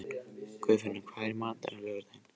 Guðfinna, hvað er í matinn á laugardaginn?